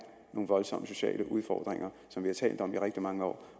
nogle voldsomme sociale udfordringer som vi har talt om i rigtig mange år